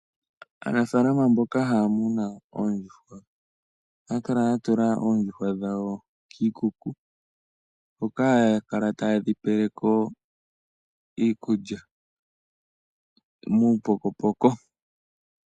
Aanafaalama mboka haya munu oondjuhwa ohaya kala ya tula oondjuhwa dhawo kiikuku, hoka haya kala taye dhi pele ko iikulya muupokopoko.